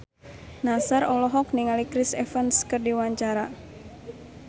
Nassar olohok ningali Chris Evans keur diwawancara